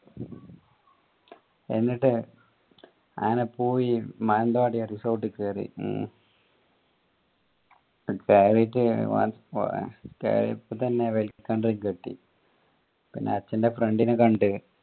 എന്നിട്ട് അങ്ങനെ പോയി മാനന്തവാടി resort കേറി കേറീട്ട് കേറിയപ്പോ തന്നെ welcome drink കിട്ടി പിന്നെ അച്ഛന്റെ friend നെ കണ്ട്